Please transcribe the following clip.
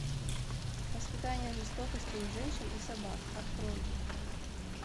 воспитание жестокости у женщин и собак открой